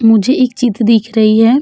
मुझे एक चीत दिख रही है।